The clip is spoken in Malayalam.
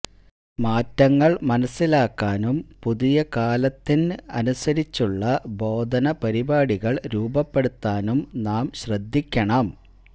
മാറ്റങ്ങള് മനസ്സിലാക്കാനും പുതിയ കാലത്തിന് അനുസരിച്ചുള്ള ബോധന പരിപാടികള് രൂപപ്പെടുത്താനും നാം ശ്രദ്ധിക്കണം